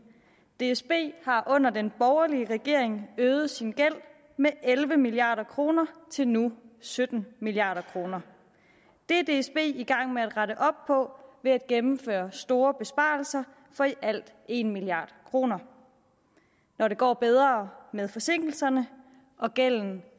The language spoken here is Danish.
dsb har under den borgerlige regering øget sin gæld med elleve milliard kroner til nu sytten milliard kroner det er dsb i gang med at rette op på ved at gennemføre store besparelser for i alt en milliard kroner når det går bedre med forsinkelserne og gælden